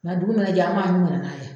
Nga dugu ma na jɛ an ma ɲun ka nan'a ye